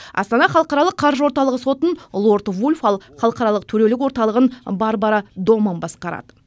астана халықаралық қаржы орталығы сотын лорд вульф ал халықаралық төрелік орталығын барбара доманн басқарады